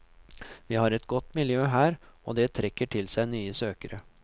Vi har et godt miljø her og det trekker til seg nye søkere.